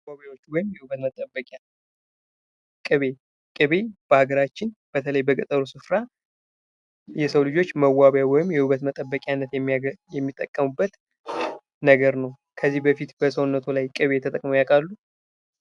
መዋቢያዎች ወይም የውበት መጠበቂያ ቅቤ በአገራችን በተለይ በገጠሩ ስፍራ የሰው ልጆች መዋቢያ ወይም የውበት መጠበቂነት የሚያጠቃውበት ነገር ነው። ከዚህ በፊት በሰውነቱ ላይ ቅቤ የተጠቅመው ያቃሉ